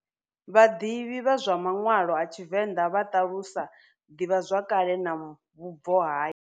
Vhadivhi vha manwalo a TshiVenda vha talusa divha zwakale na vhubvo ha.